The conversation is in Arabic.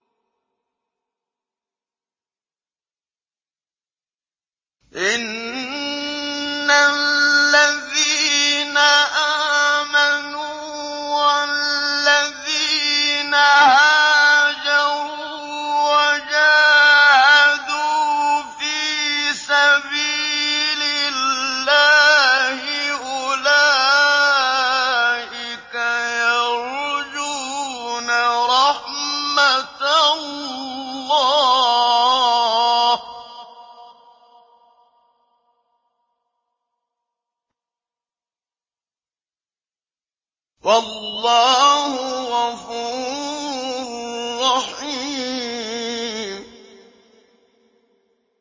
إِنَّ الَّذِينَ آمَنُوا وَالَّذِينَ هَاجَرُوا وَجَاهَدُوا فِي سَبِيلِ اللَّهِ أُولَٰئِكَ يَرْجُونَ رَحْمَتَ اللَّهِ ۚ وَاللَّهُ غَفُورٌ رَّحِيمٌ